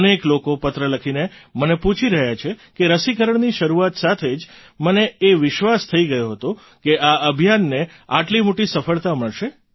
અનેક લોકો પત્ર લખીને મને પૂછી રહ્યા છે કે રસીકરણની શરૂઆત સાથે જ મને એ વિશ્વાસ થઈ ગયો હતો કે આ અભિયાનને આટલી મોટી સફળતા મળશે